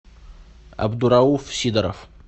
абдурауф сидоров